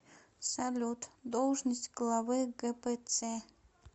салют должность главы гпц